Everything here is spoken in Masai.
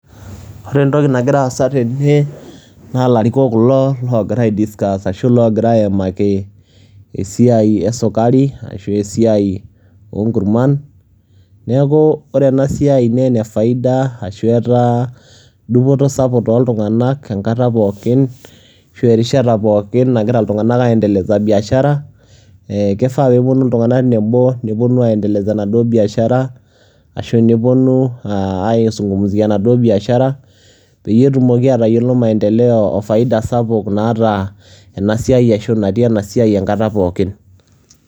ore entoki nagira aasa tene, naa ilarikok kulo logira ai discuss ashu loogira aimaki esiai esukari aashu esiai onkurman, neeku ore ena siai naa ene faida ashu etaa dupoto sapuk tooltunganak enkata pookin, ashu erishata pookin nagira iltunganak aendeleza biashara ee kifaa pee epuonu iltunganak nebo nepuonu aendelesa biashara ashu aa neuonu ai zungumziavenaduoo biashara peyie etumoki aatayiolo faida o maendeleo natii ena siai ashu naata ena siai enkata pookin.